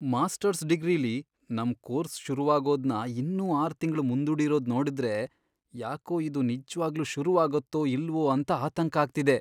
Masters ಡಿಗ್ರಿಲಿ ನಮ್ course ಶುರುವಾಗೋದ್ನ ಇನ್ನೂ ಆರ್ ತಿಂಗ್ಳು ಮುಂದೂಡಿರೋದ್ ನೋಡುದ್ರೆ, ಯಾಕೋ ಇದು ನಿಜ್ವಾಗ್ಲೂ ಶುರುವಾಗತ್ತೋ ಇಲ್ವೋ ಅಂತ ಆತಂಕ ಆಗ್ತಿದೆ.